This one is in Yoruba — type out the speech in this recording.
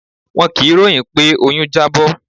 Wọn kì í ròhìn pé oyún Jábó.